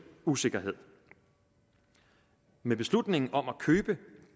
usikkerhed med beslutningen om at købe